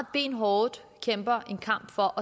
benhårdt kæmper en kamp for